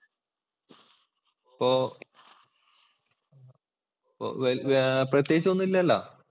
അപ്പൊ വേപ്രത്യേകിച്ച് ഒന്നും ഇല്ലല്ലോ.